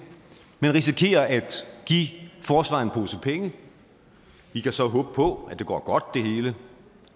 man risikerer at give forsvaret en pose penge vi kan så håbe på at det hele går godt og at